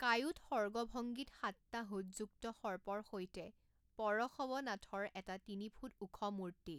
কায়োটসৰ্গভঙ্গীত সাতটা হুডযুক্ত সৰ্পৰ সৈতে পৰশৱনাথাৰ এটা তিনিফুট ওখ মূৰ্তি।